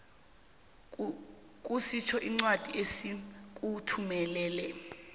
kusitjho incwadi esikuthumelele